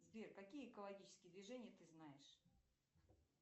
сбер какие экологические движения ты знаешь